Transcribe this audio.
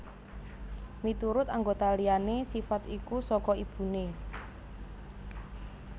Miturut anggota liyané sifat iku saka ibuné